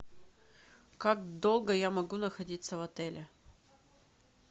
как долго я могу находиться в отеле